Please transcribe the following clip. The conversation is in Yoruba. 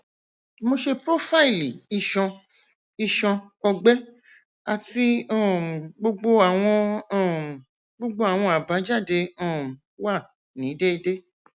mo ṣe profaili iṣan iṣan ọgbẹ ati um gbogbo awọn um gbogbo awọn abajade um wa ni deede